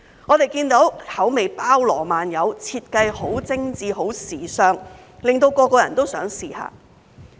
我們看到口味包羅萬有、設計很精緻、很時尚，令人人都想一試。